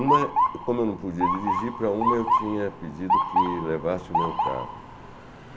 Uma, como eu não podia dirigir para uma, eu tinha pedido que levasse o meu carro.